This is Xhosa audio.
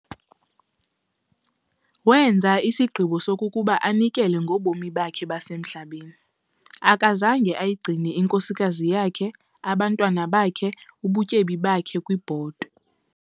Wenza isigqibo sokokuba anikele ngobomi bakhe basemhlabeni. akazange ayigcine inkosikazi yakhe, abantwana bakhe, ubutyebi bakhe kwibhotwe.